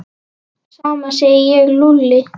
Sama segi ég sagði Lúlli.